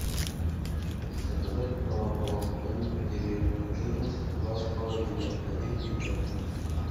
заказать молоко домик в деревне жирность два с половиной один литр